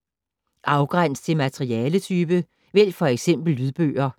Afgræns til materialetype: vælg f.eks. lydbøger